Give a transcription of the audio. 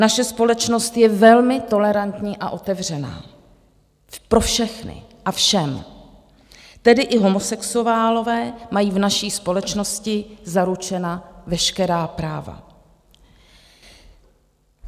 Naše společnost je velmi tolerantní a otevřená pro všechny a všem, tedy i homosexuálové mají v naší společnosti zaručena veškerá práva.